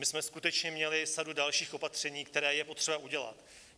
My jsme skutečně měli sadu dalších opatření, která je potřeba udělat.